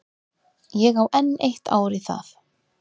Ég á enn eitt ár í það.